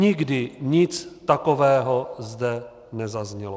Nikdy nic takového zde nezaznělo.